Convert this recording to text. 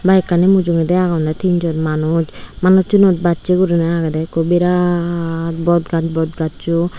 bike ani mujungedi agonne tin jon manuj manuchunot bachi guriney agede ekku birat bot gaj bot gachu.